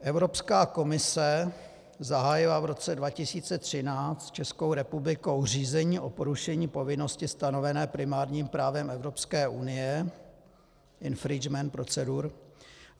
Evropská komise zahájila v roce 2013 s Českou republikou řízení o porušení povinnosti stanovené primárním právem Evropské unie - infringement procedure.